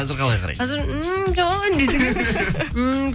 қазір қалай қарайсыз қазір ммм жан десең иә